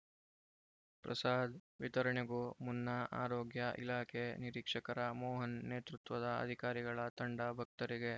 ಪ್ರಸಾದ್‌ ವಿತರಣೆಗೂ ಮುನ್ನ ಆರೋಗ್ಯ ಇಲಾಖೆ ನಿರೀಕ್ಷಕರ ಮೋಹನ್‌ ನೇತೃತ್ವದ ಅಧಿಕಾರಿಗಳ ತಂಡ ಭಕ್ತರಿಗೆ